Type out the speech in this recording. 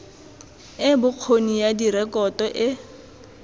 e bokgoni ya direkoto e